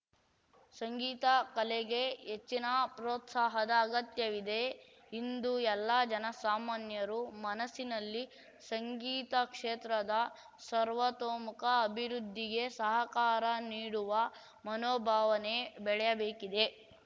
ಸಂಗೀತ ಕಲೆಗೆ ಹೆಚ್ಚಿನ ಪ್ರೋತ್ಸಾಹದ ಅಗತ್ಯವಿದೆ ಇಂದು ಎಲ್ಲ ಜನಸಾಮಾನ್ಯರು ಮನಸ್ಸಿನಲ್ಲಿ ಸಂಗೀತ ಕ್ಷೇತ್ರದ ಸರ್ವತೋಮುಖ ಅಭಿವೃದ್ಧಿಗೆ ಸಹಕಾರ ನೀಡುವ ಮನೋಭಾವನೆ ಬೆಳೆಯಬೇಕಿದೆ